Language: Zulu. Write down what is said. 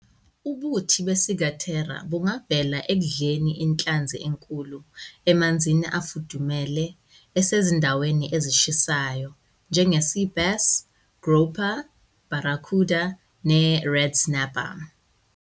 Ubuthi beCiguatera bungavela ekudleni inhlanzi emikhulu emanzini afudumele asezindaweni ezishisayo, njenge-sea bass, grouper, barracuda, ne- red snapper.